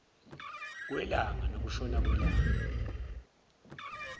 kwelanga nokushona kwelanga